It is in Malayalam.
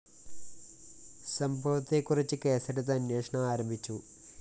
സംഭവത്തെക്കുറിച്ച് കേസെടുത്ത് അന്വേഷണം ആരംഭിച്ചു